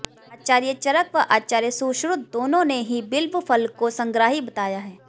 आचार्य चरक व आचार्य सुश्रुत दोनों ने ही बिल्व फल को संग्राही बताया है